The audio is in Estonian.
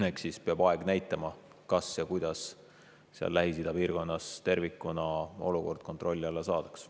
Eks aeg peab näitama, kas üldse ja kuidas seal Lähis-Ida piirkonnas tervikuna olukord kontrolli alla saadakse.